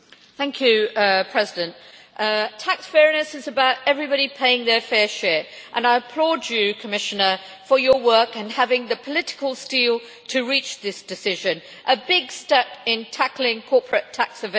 Madam President, tax fairness is about everybody paying their fair share, and I applaud you, Commissioner, for your work and for having the political steel to reach this decision a big step in tackling corporate tax evasion.